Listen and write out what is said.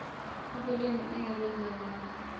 ubulima engabenza ngala